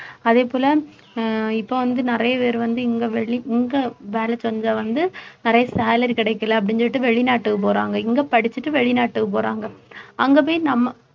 அதே போல அஹ் இப்போ வந்து நிறைய பேர் வந்து இங்கே வெளி~ இங்கே வேலை செஞ்சா வந்து நிறைய salary கிடைக்கலை அப்படின்னு சொல்லிட்டு வெளிநாட்டுக்கு போறாங்க இங்கே படிச்சுட்டு வெளிநாட்டுக்கு போறாங்க அங்கே போய் நம்ம